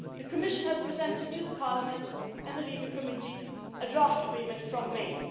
take. The Commission has presented to Parliament and the LIBE Committee a draft agreement from